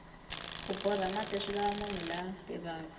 ku borha mati swilava munhu la tivaka